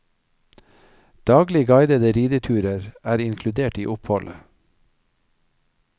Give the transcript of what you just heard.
Daglige guidede rideturer er inkludert i oppholdet.